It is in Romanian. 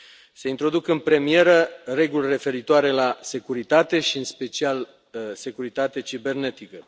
Se introduc în premieră reguli referitoare la securitate și, în special, la securitatea cibernetică.